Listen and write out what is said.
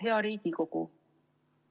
Hea Riigikogu!